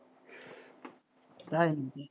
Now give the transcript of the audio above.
তাই নাকি,